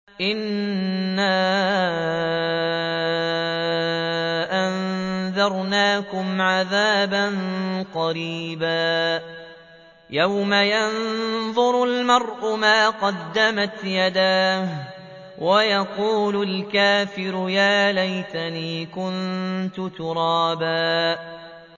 إِنَّا أَنذَرْنَاكُمْ عَذَابًا قَرِيبًا يَوْمَ يَنظُرُ الْمَرْءُ مَا قَدَّمَتْ يَدَاهُ وَيَقُولُ الْكَافِرُ يَا لَيْتَنِي كُنتُ تُرَابًا